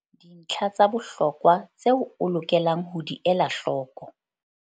Dintlha tsa bohlokwa tseo o lokelang ho di ela hloko.